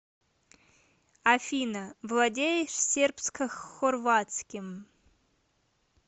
афина владеешь сербскохорватским